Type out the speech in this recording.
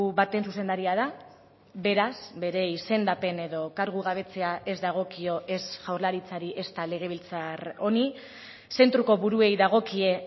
baten zuzendaria da beraz bere izendapen edo kargugabetzea ez dagokio ez jaurlaritzari ezta legebiltzar honi zentroko buruei dagokie